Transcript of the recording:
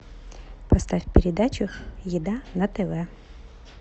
поставь передачу еда на тв